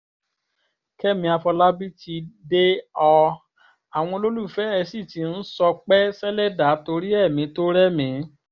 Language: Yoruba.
kẹ́mi àfọlábí ti dé ọ àwọn olólùfẹ́ ẹ sì ti ń ṣọpẹ́ sẹ̀lẹ́dà torí ẹ̀mí tó rẹ́mìí